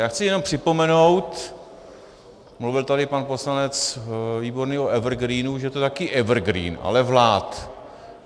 Já chci jenom připomenout - mluvil tady pan poslanec Výborný o evergreenu - že to je taky evergreen, ale vlád.